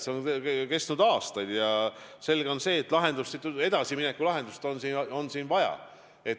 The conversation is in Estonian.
See on ülal olnud aastaid ja on selge, et edasimineku lahendust on vaja.